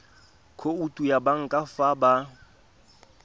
khoutu ya banka fa ba